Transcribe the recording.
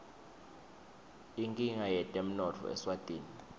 inkinga yetemnotfo eswatini